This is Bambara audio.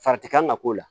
Fari ti kan ka k'o la